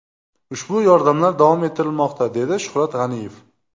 Ushbu yordamlar davom ettirilmoqda”, dedi Shuhrat G‘aniyev.